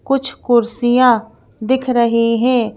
कुछ कुर्सियां दिख रही हैं।